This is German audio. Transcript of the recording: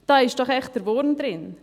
Da ist der Wurm drin.